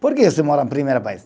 Por que você mora primeiro país?